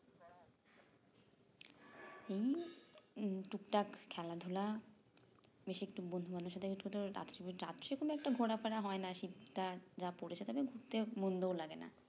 এই এই টুকটাক খেলাধুলা বেশি একটু বুদ্ধিমান এর সাথে রাত্রে কোনো একটা ঘোরা ফিরা হয়না শীত টা যা পড়েছে তবে ঘুরতে মন্দও লাগেনা